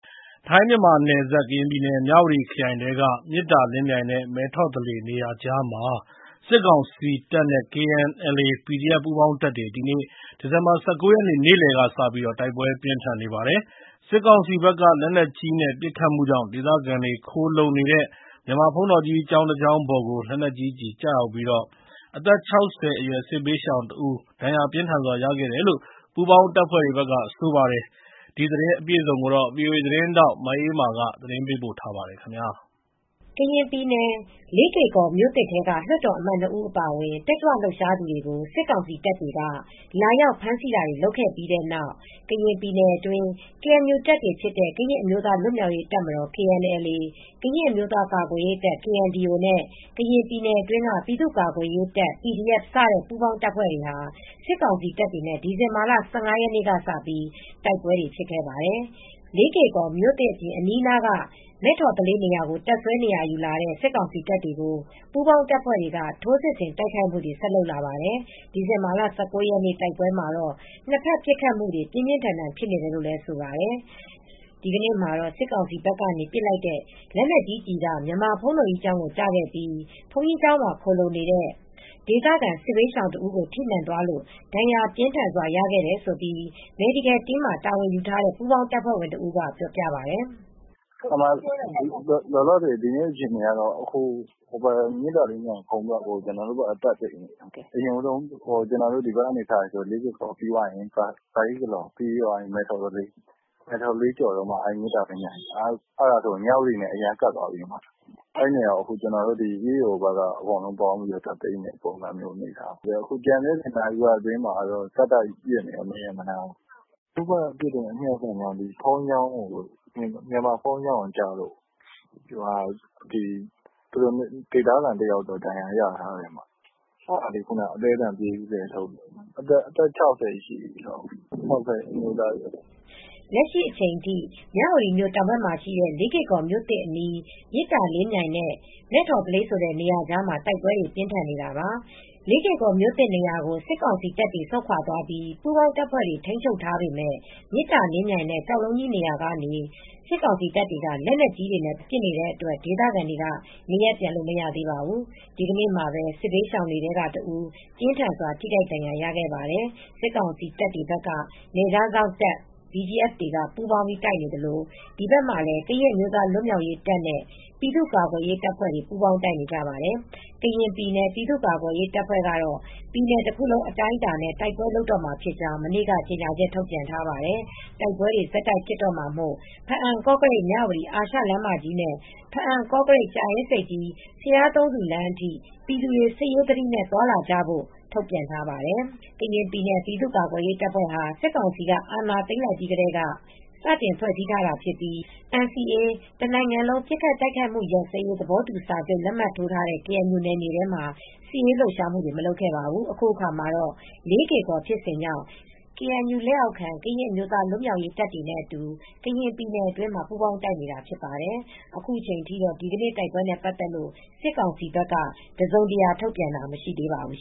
ထိုင်း-မြန်မာနယ်စပ် ကရင်ပြည်နယ် မြဝတီခရိုင်ထဲက မေတ္တာလင်းမြိုင်နဲ့ မဲ့ထော်သလေး နေရာကြားမှာ စစ်ကောင်စီတပ်နဲ့ KNLA၊ PDF ပူးပေါင်းတပ်များ ဒီဇင်ဘာလ ၁၉ ရက်နေ့ နေ့လယ်ကစပြီး တိုက်ပွဲပြင်းထန်နေပါတယ်။ စစ်ကောင်စီဘက်က လက်နက်ကြီးနဲ့ ပစ်ခတ်မှုကြောင့် ဒေသခံတွေ ခိုလှုံနေတဲ့ မြန်မာဘုန်းတော်ကြီးတကျောင်းပေါ်ကို လက်နက်ကြီးကျည် ကျရောက်ပြီး အသက် ၆၀ အရွယ် စစ်ဘေးရှောင်တဦး ဒဏ်ရာပြင်းထန်စွာ ရခဲ့တယ်လို့ ပူးပေါင်းတပ်ဖွဲ့တွေက ဆိုပါတယ်။ အပြည့်အစုံကို ဗွီအိုအေသတင်းထောက် မအေးအေးမာ တင်ပြပေးထားပါတယ်။ ကရင်ပြည်နယ် လေးကေ့ကော်မြို့သစ်ထဲက လွှတ်တော်အမတ် ၂ ဦး အပါအဝင် တက်ကြွလှုပ်ရှားသူတွေကို စစ်ကောင်စီတပ်တွေက လာရောက်ဖမ်းဆီးတာတွေ လုပ်ခဲ့ပြီးတဲ့နောက် ကရင်ပြည်နယ်အတွင်း ကေအန်ယူတပ်တွေဖြစ်တဲ့ ကရင်အမျိုးသား လွတ်မြောက်ရေးတပ်မတော် (KNLA)၊ ကရင်အမျိုးသား ကာကွယ်ရေးတပ် (KNDO) နဲ့ ကရင်ပြည်နယ်တွင်းက ပြည်သူ့ကာကွယ်ရေးတပ် (PDF) စတဲ့ ပူးပေါင်းတပ်တွေဟာ စစ်ကောင်စီတပ်တွေနဲ့ ဒီဇင်ဘာလ ၁၅ ရက်နေ့ကစပြီး တိုက်ပွဲတွေ ဖြစ်နေပါတယ်။ လေးကေ့ကော်မြို့သစ်အပြင် အနီးနားက မဲ့ထော်သလေးနေရာကို တပ်စွဲ နေရာယူလာတဲ့ စစ်ကောင်စီတပ်တွေကို ပူးပေါင်းတပ်ဖွဲ့တွေက ထိုးစစ်ဆင် တိုက်ခိုက်မှုတွေ ဆက်လုပ်လာပါတယ်။ ဒီဇင်ဘာလ ၁၉ ရက်နေ့ တိုက်ပွဲမှာတော့ နှစ်ဖက် ပစ်ခတ်မှုတွေ ပြင်းပြင်းထန်ထန် ဖြစ်နေတယ်လို့ ဆိုပါတယ်။ ဒီနေ့မှာတော့ စစ်ကောင်စီဘက်ကနေ ပစ်လိုက်တဲ့ လက်နက်ကြီးကျည်က မြန်မာဘုန်းတော်ကြီးကျောင်းကို ကျခဲ့ပြီး ဘုန်းကြီးကျောင်းမှာ ခိုလှုံနေတဲ့ ဒေသခံ စစ်ဘေးရှောင်တဦးကို ထိမှန်သွားလို့ ဒဏ်ရာပြင်းထန်စွာ ရခဲ့တယ်လို့ Medical Team မှာ တာဝန်ယူထားတဲ့ ပူးပေါင်းတပ်ဖွဲ့ဝင်တဦးက ပြောပါတယ်။ “လောလောဆယ် ဒီနေ့အခြေအနေကတော့ မေတ္တာလင်းမြိုင်ကုန်းဘက်ကို ကျနော်တို့ဘက်က တက်သိမ်းနေပြီ။ အရင်ဦးဆုံး ဒီဘက်ကနေ စရင် လေးကေ့ကော်ရှိတယ်၊ ပြီးတော့ ပဟိကလော်၊ ပြီးတော့ မဲ့ထော်သလေး၊ အဲဒါပြီးမှ မေတ္တာလင်းမြိုင်၊ အဲဒါဆိုတော့ မြဝတီနဲ့ အရမ်းကပ်သွားပြီ။ အဲဒီနေရာကို EAO ဘက်က တက်သိမ်းနေတဲ့ အနေအထားပါ။ အခုနာရီဝက် အတွင်းမှာပဲ ဆက်တိုက်ပစ်နေပါတယ်။ သူတို့ဘက်ကပစ်တဲ့ အမြောက်ဆန်ကြောင့် မြန်မာဘုန်တော်ကြီးကျောင်းကို ကျလို့ ဒေသခံတယောက်တော့ ဒဏ်ရာရထားတယ်။ ခုနပဲ အသည်းအသန် ပြေးပြီး ကယ်ထုတ်ရတယ်။ အသက် ၆၀ လောက်ရှိတဲ့ အမျိုးသားတဦးပါ။” လက်ရှိအချိန်ထိ မြဝတီမြို့ တောင်ဘက်မှာရှိတဲ့ လေးကေ့ကော်မြို့သစ်အနီး မေတ္တာလင်းမြိုင်နဲ့ မဲ့ထော်သလေးဆိုတဲ့ နေရာကြားမှာ တိုက်ပွဲတွေ ပြင်းထန်နေတာပါ။ လေးကေ့ကော်မြို့သစ် နေရာကို စစ်ကောင်စီတပ်တွေက ဆုတ်ခွာသွားပြီး ပူးပေါင်းတပ်ဖွဲ့တွေက ထိန်းချုပ်ထားပေမယ့် မေတ္တာလင်းမြိုင်နဲ့ ကျောက်လုံးကြီးနေရာကနေ စစ်ကောင်စီတပ်တွေက လက်နက်ကြီးတွေနဲ့ ပစ်နေတဲ့အတွက် ဒေသခံတွေဟာ နေရပ်ပြန်လို့ မရသေးပါဘူး။ ဒီကနေ့မှာပဲ စစ်ဘေးရှောင်ထဲကတဦး ပြင်းထန်စွာ ထိခိုက်ဒဏ်ရာ ရရှိခဲ့ပါတယ်။ စစ်ကောင်စီတပ်တွေဘက်က နယ်ခြားစောင့် BGF တပ်တွေက ပူးပေါင်းပြီး တိုက်နေသလို ဒီဘက်မှာလည်း ကရင့်အမျိုးသားလွတ်မြောက်ရေးတပ်နဲ့ ပြည်သူ့ကာကွယ်ရေးတပ်ဖွဲ့တွေ ပူးပေါင်းတိုက်နေကြပါတယ်။ ကရင်ပြည်နယ် ပြည်သူ့ကာကွယ်ရေးတပ်ဖွဲ့ကတော့ ပြည်နယ်တခုလုံး အတိုင်းအတာနဲ့ တိုက်ပွဲလုပ်တော့မှာဖြစ်ကြောင်း မနေ့က ကြေညာချက် ထုတ်ပြန်ထားပါတယ်။ တိုက်ပွဲတွေ ဆက်တိုက်ဖြစ်တော့မှာမို့ ဘားအံ-ကော့ကရိတ်-မြဝတီ အာရှလမ်းမကြီးနဲ့ ဘားအံ-ကော့ကရိတ်-ကြာအင်းဆိပ်ကြီး-ဘုရားသုံးဆူလမ်းအထိ ပြည်သူတွေ စစ်ရေးသတိနဲ့သာ သွားလာကြဖို့ ထုတ်ပြန်ထားပါတယ်။ ကရင်ပြည်နယ် ပြည်သူ့ကာကွယ်ရေးတပ်ဖွဲ့ဟာ စစ်ကောင်စီက စစ်အာဏာသိမ်းလိုက်ပြီးကတည်းက စတင်ဖွဲ့စည်းထားတာဖြစ်ပြီး NCA တနိုင်ငံလုံး ပစ်ခတ်တိုက်ခတ်မှု ရပ်စဲရေး သဘောတူစာချုပ် လက်မှတ်ထိုးထားတဲ့ ကေအန်ယူနယ်မြေထဲမှာ စစ်ရေးလှုပ်ရှားမှုတွေကို မလုပ်ခဲ့ပါဘူး။ အခုအခါမှတော့ လေးကေ့ကော် ဖြစ်စဉ်ကြောင့် ကေအန်ယူလက်အောက်ခံ ကရင်အမျိုးသား လွတ်မြောက်ရေးတပ်တွေနဲ့အတူ ကရင်ပြည်နယ်အတွင်းမှာ ပူးပေါင်းတိုက်နေတာ ဖြစ်ပါတယ်။ အခုချိန်ထိတော့ ဒီနေ့တိုက်ပွဲနဲ့ ပတ်သက်လို့ စစ်ကောင်စီဘက်က တစုံတရာ ထုတ်ပြန်တာ မရှိသေးပါဘူး